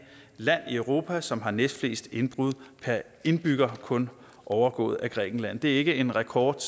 land i europa som har næstflest indbrud per indbygger kun overgået af grækenland det er ikke en rekord